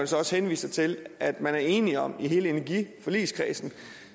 så også henviser til at man er enige om i hele energiforligskredsen